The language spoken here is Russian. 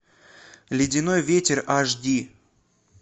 ледяной ветер аш ди